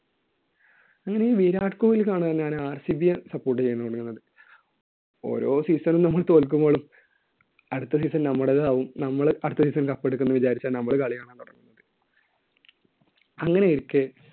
ഇനി ഈ വിരാട് കോഹ്ലി കാരണമാണ് ഞാൻ RCB യെ support ചെയ്യുന്നത്. ഓരോ season ലും നമ്മള് തോൽക്കുമ്പോഴും അടുത്ത season നമ്മുടേതാകും, നമ്മൾ അടുത്ത season ല്‍ cup എടുക്കും എന്നു വിചാരിച്ചാണ് നമ്മൾ കളി കാണാന്‍ തൊടങ്ങാ. അങ്ങനെയിരിക്കെ